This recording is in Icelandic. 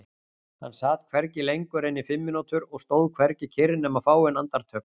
Hann sat hvergi lengur en í fimm mínútur og stóð hvergi kyrr nema fáein andartök.